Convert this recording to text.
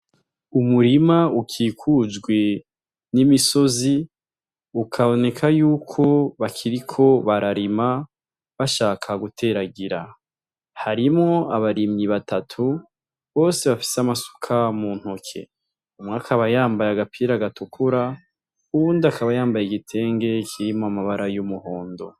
Umurima ukikujwe n'imisozi ukaboneka yuko bakiriko bararima bashaka guteragira harimwo abarimyi batatu bose bafise amasuka mu ntoke umwe akaba yambaye agapira gatukura uwundi akaba yambaye igitenge kirimwo amabara y'umuhondo.